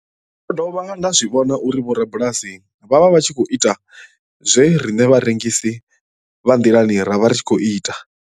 Ndo dovha nda zwi vhona uri vhorabulasi vho vha vha tshi khou ita zwe riṋe vharengisi vha nḓilani ra vha ri tshi khou ita.